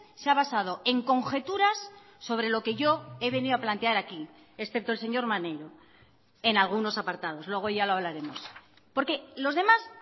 se ha basado en conjeturas sobre lo que yo he venido a plantear aquí excepto el señor maneiro en algunos apartados luego ya lo hablaremos porque los demás